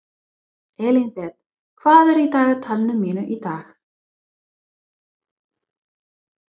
Elínbet, hvað er í dagatalinu mínu í dag?